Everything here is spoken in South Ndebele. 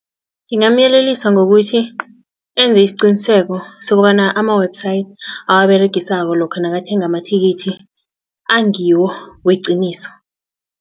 Ngingamyelelisa ngokuthi enze isiqiniseko sokobana ama-website awaberegisako lokha nakathenga amathikithi angiwo weqiniso.